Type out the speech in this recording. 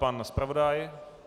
Pan zpravodaj?